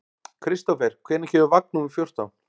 Kristofer, hvenær kemur vagn númer fjórtán?